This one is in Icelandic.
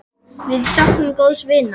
Við söknum góðs vinar.